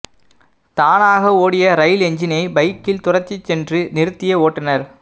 தானாக ஓடிய ரயில் என்ஜினை பைக்கில் துரத்திச் சென்று நிறுத்திய ஓட்டுநர்